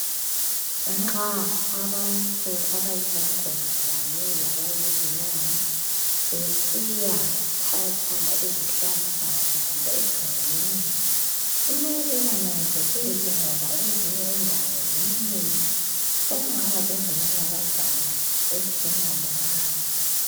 Nxa abantu abayizangoma kanye labayizinyanga besiyathatha izihlahla zabo egangeni kumele bananzelele ngoba ezinye indawo ziminyene, sekungaba lezinanakazana ezingalunganga.